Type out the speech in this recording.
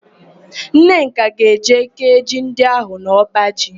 Nneka ga-eje kéé ji ndị ahụ n'ọbaji.